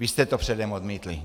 Vy jste to předem odmítli.